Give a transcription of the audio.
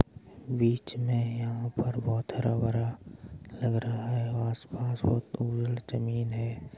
बीच में यहाँ पर बहोत हरा-भरा लग रहा है। आस पास बहोत जमीन है।